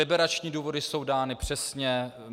Liberační důvody jsou dány přesně.